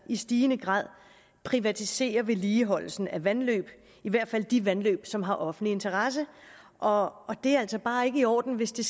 i stigende grad privatiserer vedligeholdelsen af vandløb i hvert fald de vandløb som har offentlig interesse og det er altså bare ikke i orden hvis det